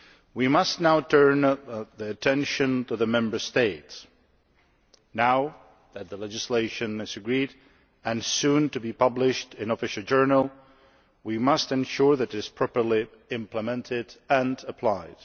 We must now turn our attention to the Member States. Now that the legislation has been agreed and will soon be published in the Official Journal, we must ensure that it is properly implemented and applied.